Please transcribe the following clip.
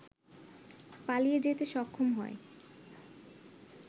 পালিয়ে যেতে সক্ষম হয়